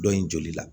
Dɔ in joli la